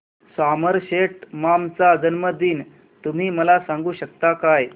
Somerset Maugham चा जन्मदिन तुम्ही मला सांगू शकता काय